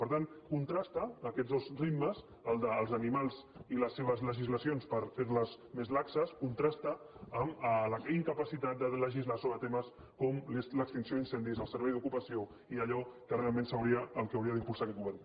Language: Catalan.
per tant contrasten aquests dos ritmes el dels ani·mals i les seves legislacions per fer·les més laxes con·trasta amb la incapacitat de legislar sobre temes com l’extinció d’incendis el servei d’ocupació i allò que realment hauria d’impulsar aquest govern